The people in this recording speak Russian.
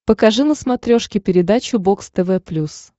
покажи на смотрешке передачу бокс тв плюс